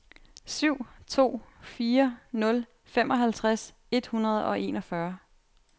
syv to fire nul femoghalvtreds et hundrede og enogfyrre